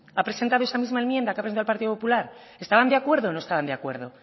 ha presentado esa misma enmienda que ha presentado el partido popular estaban de acuerdo o no estaban de acuerdo